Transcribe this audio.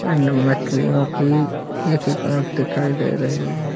And मछलियों की एक एक आँख दिखाई दे रही है।